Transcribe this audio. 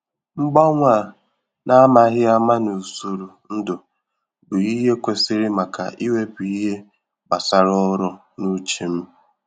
Mgbanwe a n’ámàghị áma n’usoro ndụ bụ ìhè kwesịrị maka iwepụ ihe gbasàrà ọrụ n'uche m